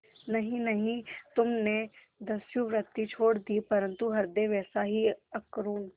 नहीं नहीं तुमने दस्युवृत्ति छोड़ दी परंतु हृदय वैसा ही अकरूण